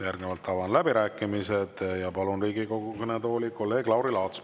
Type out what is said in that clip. Järgnevalt avan läbirääkimised ja palun Riigikogu kõnetooli kolleeg Lauri Laatsi.